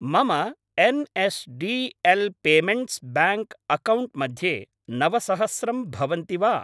मम N S D L payments bank account मध्ये नवसहस्रं भवन्ति वा?